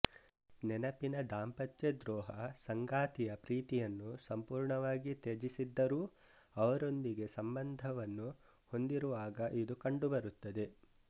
ನೆನಪಿನ ದಾಂಪತ್ಯ ದ್ರೋಹ ಸಂಗಾತಿಯ ಪ್ರೀತಿಯನ್ನು ಸಂಪೂರ್ಣವಾಗಿ ತ್ಯಜಿಸಿದ್ದರೂ ಅವರೊಂದಿಗೆ ಸಂಬಂಧವನ್ನು ಹೊಂದಿರುವಾಗ ಇದು ಕಂಡುಬರುತ್ತದೆ